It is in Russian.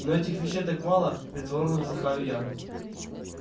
но этих вещей так мало притворно вздыхаю я